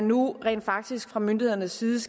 nu rent faktisk fra myndighedernes side